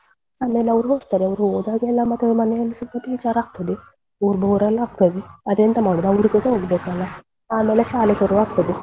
ಆಮೇಲ್ ಅವ್ರು ಹೋಗ್ತಾರೆ ಅವ್ರು ಹೋದಾಗೆಲ್ಲ ಮಾತ್ರ ಮನೆಯಲ್ಲ ಸ್ವಲ್ಪ ಬೇಜಾರ್ ಆಗ್ತದೇ bore bore ಎಲ್ಲ ಆಗ್ತದೆ ಮತ್ತೆಂತ ಮಾಡುದು ಅವರಿಗೂಸಾ ಹೋಗ್ಬೇಕಲ್ಲ ಆಮೇಲೆ ಶಾಲೆ ಶುರುವಾಗ್ತದೆ.